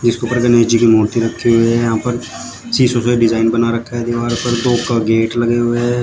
इसके उपर ऊपर गणेश जी की मूर्ति रखी हुए हैं यहां पर शिशो सा डिजाइन बना रखा है दीवार पर तोफ का गेट लगाया हुआ हैं।